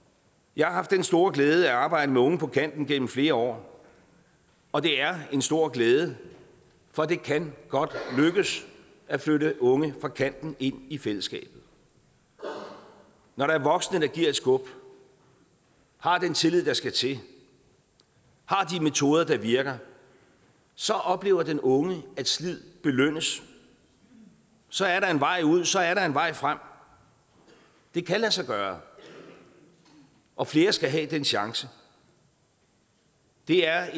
jeg har haft den store glæde at arbejde med unge på kanten gennem flere år og det er en stor glæde for det kan godt lykkes at flytte unge fra kanten ind i fællesskabet når der er voksne der givet et skub har den tillid der skal til har de metoder der virker så oplever den unge at slid belønnes så er der en vej ud så er der en vej frem det kan lade sig gøre og flere skal have den chance det er